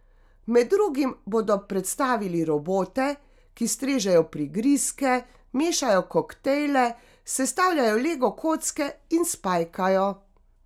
Med drugim bodo predstavili robote, ki strežejo prigrizke, mešajo koktejle, sestavljajo lego kocke in spajkajo.